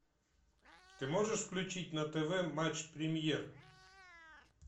ты можешь включить на тв матч премьер